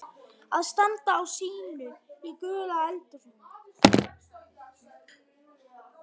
Að standa á sínu í gulu eldhúsi